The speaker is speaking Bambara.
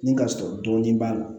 Ni ka sɔrɔ dɔɔnin b'a la